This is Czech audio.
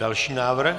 Další návrh?